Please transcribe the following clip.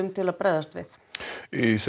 til að bregðast við þessu